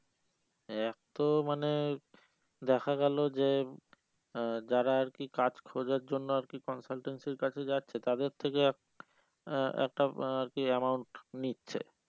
এক তো মানে দেখা গেলো যে আহ যারা আর কি কাজ খোঁজার জন্য আর কি consultancy র কাছে যাচ্ছে তাদের থেকে এক একটা আর কি amount নিচ্ছে